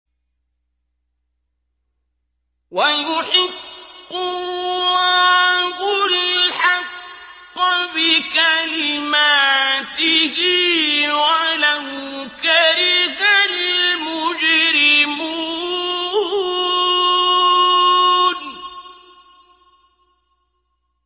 وَيُحِقُّ اللَّهُ الْحَقَّ بِكَلِمَاتِهِ وَلَوْ كَرِهَ الْمُجْرِمُونَ